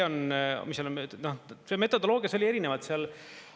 See metodoloogia oli erinevalt seal.